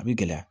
A bɛ gɛlɛya